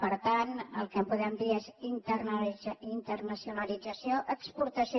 per tant el que podem dir és internacionalització i exportació